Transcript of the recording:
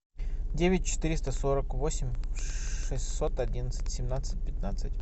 девять четыреста сорок восемь шестьсот одиннадцать семнадцать пятнадцать